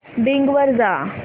Bing वर जा